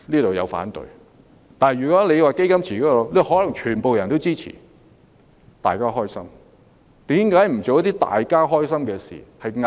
不過，如果推行"基金池"方案，他們可能全皆支持，這樣便皆大歡喜了。